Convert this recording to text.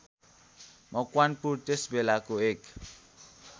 मकवानपुर त्यसबेलाको एक